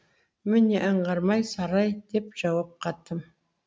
міне аңғармай сарай деп жауап қаттым